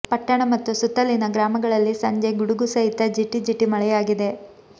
ಪಟ್ಟಣ ಮತ್ತು ಸುತ್ತಲಿನ ಗ್ರಾಮಗಳಲ್ಲಿ ಸಂಜೆ ಗುಡುಗು ಸಹಿತ ಜಿಟಿಜಿಟಿ ಮಳೆಯಾಗಿದೆ